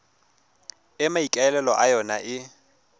e maikaelelo a yona e